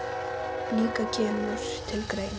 líka kemur til greina.